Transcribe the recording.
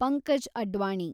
Pankaj Advani